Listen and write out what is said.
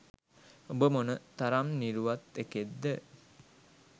උඹ මොන තරම් නිරුවත් එකෙක්ද